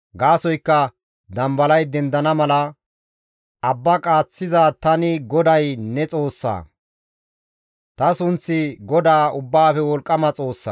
Gaasoykka dambalay dendana mala abba qaaththiza Tani GODAY ne Xoossa; ta sunththi GODAA Ubbaafe Wolqqama Xoossa.